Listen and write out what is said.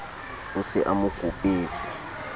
o se a mo kopetswe